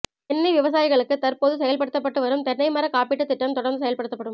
தென்னை விவசாயிகளுக்கு தற்போது செயல்படுத்தப்பட்டு வரும் தென்னை மரக் காப்பீட்டுத் திட்டம் தொடர்ந்து செயல்படுத்தப்படும்